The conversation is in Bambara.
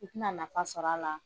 I tɛna nafa sɔr'a la